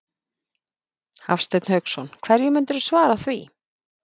Hafsteinn Hauksson: Hverju myndirðu svara því?